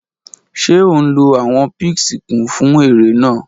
Ṣe o nlo awọ píìṣì kun fun ere naa?